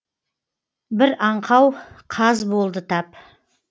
бір аңқау қаз болды тап